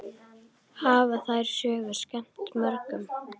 Hafa þær sögur skemmt mörgum.